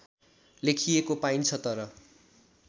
लेखिएको पाइन्छ तर